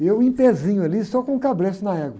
E eu empezinho ali, só com o cabresto na égua.